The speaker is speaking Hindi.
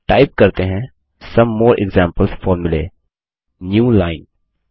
टाइप करते हैं some more example formulae newline